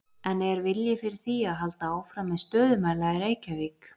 En er vilji fyrir því að halda áfram með stöðumæla í Reykjavík?